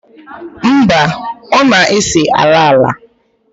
mba, ọ na-ese ala ala